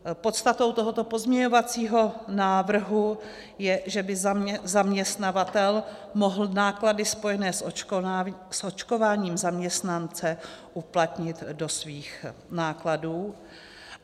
Podstatou tohoto pozměňovacího návrhu je, že by zaměstnavatel mohl náklady spojené s očkováním zaměstnance uplatnit do svých nákladů.